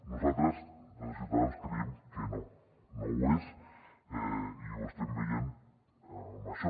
nosaltres des de ciutadans creiem que no que no ho és i ho estem veient en això